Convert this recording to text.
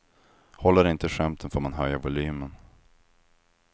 Håller inte skämten får man höja volymen.